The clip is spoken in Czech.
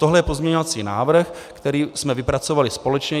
Tohle je pozměňovací návrh, který jsme vypracovali společně.